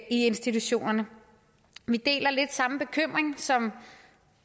institutionerne vi deler lidt den samme bekymring som